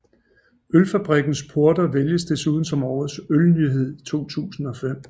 Ølfabrikkens Porter vælges desuden som Årets Ølnyhed 2005